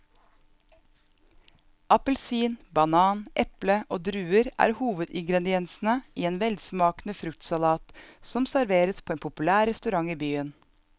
Appelsin, banan, eple og druer er hovedingredienser i en velsmakende fruktsalat som serveres på en populær restaurant i byen.